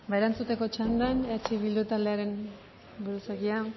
eskerrik asko erantzuteko txandan eh bildu taldearen buruzagia